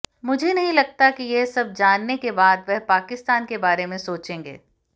मुझे नहीं लगता कि यह सब जानने के बाद वह पाकिस्तान के बारे में सोचेंगे